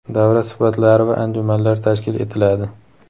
davra suhbatlari va anjumanlar tashkil etiladi.